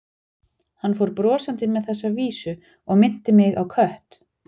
Hann fór brosandi með þessa vísu og minnti mig á kött.